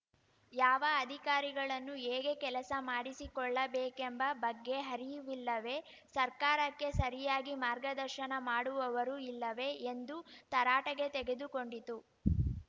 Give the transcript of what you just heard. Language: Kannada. ಯಾವ ಅಧಿಕಾರಿಗಳನ್ನು ಹೇಗೆ ಕೆಲಸ ಮಾಡಿಸಿಕೊಳ್ಳಬೇಕೆಂಬ ಬಗ್ಗೆ ಅರಿವಿಲ್ಲವೇ ಸರ್ಕಾರಕ್ಕೆ ಸರಿಯಾಗಿ ಮಾರ್ಗದರ್ಶನ ಮಾಡುವವರು ಇಲ್ಲವೇ ಎಂದು ತರಾಟೆಗೆ ತೆಗೆದುಕೊಂಡಿತು